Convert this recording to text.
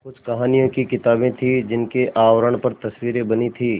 कुछ कहानियों की किताबें थीं जिनके आवरण पर तस्वीरें बनी थीं